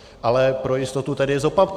Ale pro jistotu tedy zopakuji: